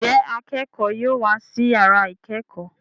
Njé akẹkọ yóò wá sí yàrá ikẹkọ?